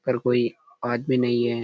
पर कोई आदमी नहीं है।